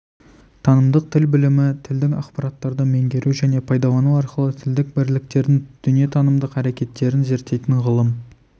танымдық тіл білімі тілдік ақпараттарды меңгеру және пайдалану арқылы тілдік бірліктердің дүниетанымдық әрекеттерін зерттейтін ғылым